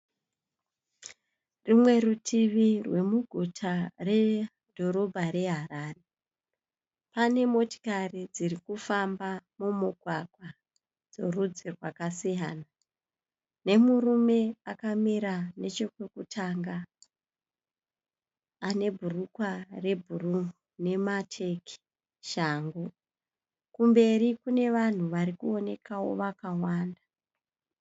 Rumwe rutivi rwemuguta redhorobha reHarare. Pane motikari dziri kufamba mumugwagwa dzorudzi rwakasiyana, nemurume akamira nechekwekutanga ane bhurugwa rebhuruu nemateki shangu. Kumberi kune vanhu vari kuonekawo vakawanda.